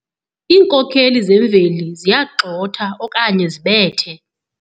Iinkokeli zemveli ziyagxotha okanye zibethe.